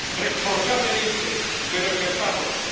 Responsablemente, pero ejerzámoslo.